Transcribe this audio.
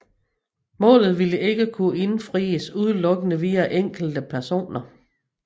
Målet ville ikke kunne indfries udenlukkende via enkelte personer